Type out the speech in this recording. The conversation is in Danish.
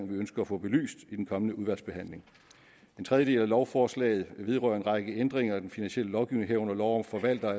vi ønsker at få belyst i den kommende udvalgsbehandling en tredje del af lovforslaget vedrører en række ændringer af den finansielle lovgivning herunder lov om forvaltere